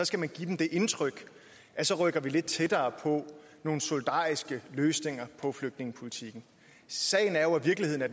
skal man give dem det indtryk at så rykker vi lidt tættere på nogle solidariske løsninger på flygtningepolitikken sagen er jo i virkeligheden at